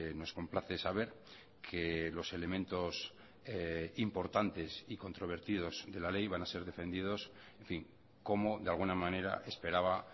nos complace saber que los elementos importantes y controvertidos de la ley van a ser defendidos en fin como de alguna manera esperaba